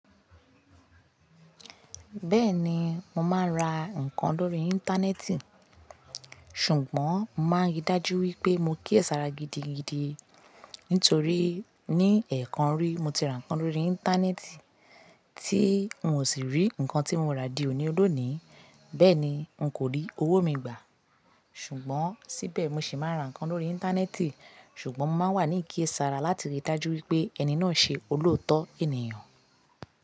Bẹ́ẹ̀ni mo máa ń ra ǹkan lórí Íńtánẹ́ẹ̀tì, ṣùgbọ́n màá rí i dájú wípé mo kíyèsára gidigidi nítorí ní ẹ̀ẹ̀kan rí mo ti ra ǹkan lórí Íńtánẹ́ẹ̀tì tí n ò sì rí ǹkan tí mo ra di òní lónìí, bẹ́ẹ̀ni n kò rí owó mi gbà. Ṣùgbọ́n síbẹ̀ mo ṣì máa ń ra ǹkan lórí Íńtánẹ́ẹ̀tì ṣùgbọ́n mo máa wà ní ìkiyèésàrà láti rí i dájú wípé ẹni náà ṣe olóòótọ́ ènìyàn.